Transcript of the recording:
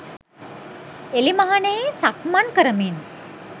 එළිමහනෙහි සක්මන් කරමින්